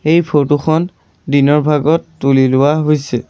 এই ফৰটো খন দিনৰ ভাগত তুলি লোৱা হৈছে।